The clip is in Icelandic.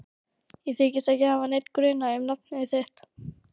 Ég þykist ekki hafa neinn grun um nafn þitt.